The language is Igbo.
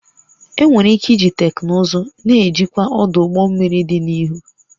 Enwere ike iji teknụzụ na-ejikwa ọdụ ụgbọ mmiri dị n'ihu